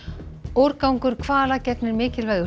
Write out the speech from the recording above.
úrgangur hvala gegnir mikilvægu